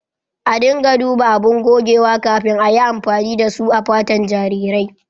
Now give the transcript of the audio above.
A dinga duba abun gogewa kafin ayi amfani da su a fatan jarirai.